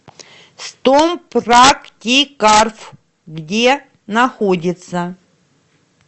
стомпрактикарф где находится